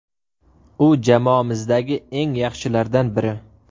U jamoamizdagi eng yaxshilardan biri.